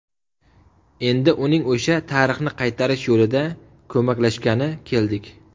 Endi uning o‘sha tarixni qaytarish yo‘lida ko‘maklashgani keldik.